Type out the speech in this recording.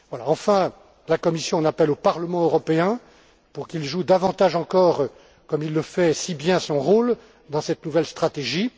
Enfin, la Commission en appelle au Parlement européen pour qu'il joue davantage encore, comme il le fait si bien, son rôle dans cette nouvelle stratégie.